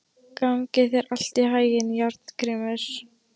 Gangi þér allt í haginn, Járngrímur.